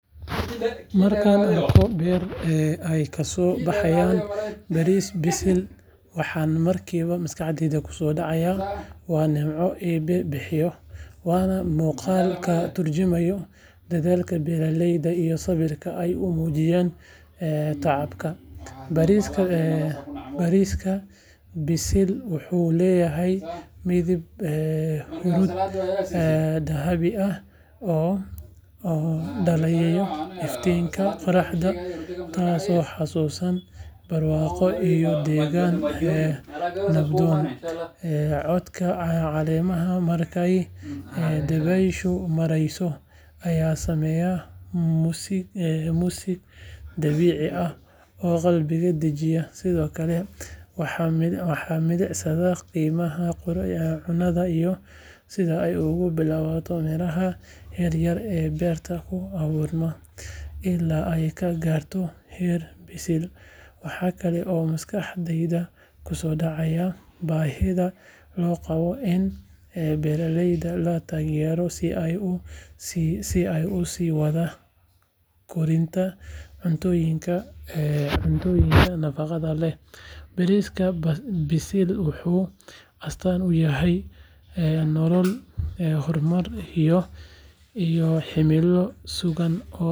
Markaan arko beer ay kasoo baxayso bariis bisil, waxa markiiba maskaxdayda kusoo dhacaya waa nimco Eebbe bixiyo, waana muuqaal ka turjumaya dadaalkii beeralayda iyo samirka ay u muujiyeen tacabka. Bariiska bisil wuxuu leeyahay midab huruud dahabi ah oo dhalaalaya iftiinka qoraxda, taasoo xusuusinaysa barwaaqo iyo degaan nabdoon. Codka caleemaha markay dabayshu marayso ayaa sameeya muusig dabiici ah oo qalbiga dejinaya. Sidoo kale, waxaan milicsadaa qiimaha cunnada iyo sida ay uga bilaabato miraha yaryar ee beerta ku abuurma ilaa ay ka gaarto heer bisil. Waxa kale oo maskaxdayda kusoo dhacaya baahida loo qabo in beeraleyda la taageero si ay u sii wadaan korinta cuntooyinka nafaqada leh. Bariiska bisil wuxuu astaan u yahay nolol, horumar, iyo himilo sugan oo ah in qof walba uu helo cunto ku filan oo tayo leh.